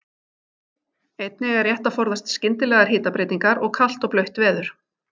Einnig er rétt að forðast skyndilegar hitabreytingar og kalt og blautt veður.